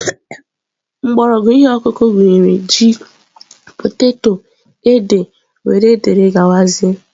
Mgbọrọgwụ ihe ọkụkụ gụnyere ji, poteto, ede wdg.